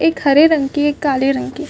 एक हरे रंग की के काले रंग की--